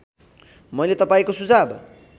मैले तपाईँको सुझाव